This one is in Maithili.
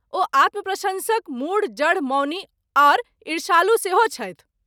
ओ आत्मप्रशंसक, मूढ, जड, मौनी और ईर्ष्यालु सेहो छथि।